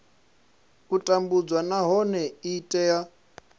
u tambudzwa nahone i tea